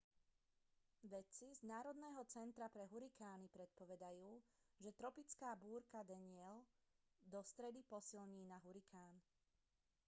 vedci z národného centra pre hurikány predpovedajú že tropická búrka danielle do stredy posilní na hurikán